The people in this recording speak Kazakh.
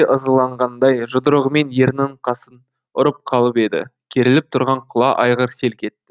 ызаланғандай жұдырығымен ернінің қасын ұрып қалып еді керіліп тұрған құла айғыр селк етті